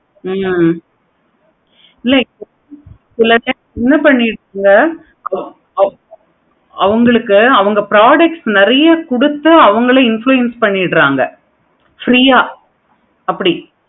ஹம் இல்ல இப்ப சில times அவங்களுக்கு அவங்க product நெறைய கொடுத்து அவுங்களே influence பண்ணிறீங்க. free யா அப்படி